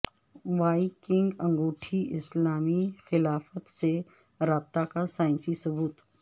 Y king انگوٹھی اسلامی خلافت سے رابطہ کا سائنسی ثبوت